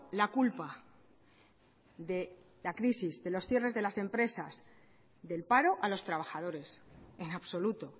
la culpa de la crisis de los cierres de las empresas del paro a los trabajadores en absoluto